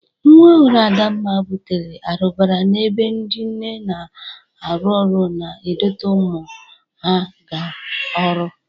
Nwa ọhụrụ Adamma bụtere arụbara n'ebe ndị nne na-arụ ọrụ na-edote ụmụ ha ga ọrụ.